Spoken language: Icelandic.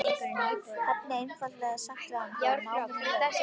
Hefði einfaldlega sagt við hann þegar náminu lauk.